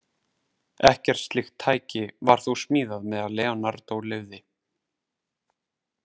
Ekkert slíkt tæki var þó smíðað meðan Leonardó lifði.